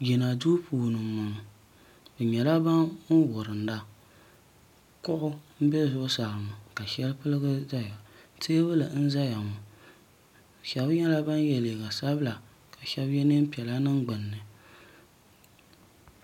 jina duu puuni n boŋo bi nyɛla ban wurinda kuɣu n bɛ zuɣusaa ŋo ka shɛli gbuligi ʒɛya teebuli n ʒɛya ŋo shab nyɛla ban yɛ liiga sabila ka shab yɛ neen piɛla n niŋ gbunni